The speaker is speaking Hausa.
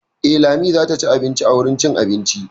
Eh, Lami zata ci abinci a wurin cin abinci.